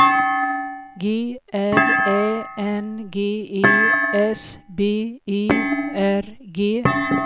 G R Ä N G E S B E R G